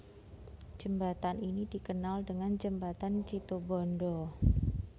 Jembatan ini dikenal dengan Jembatan Situbondo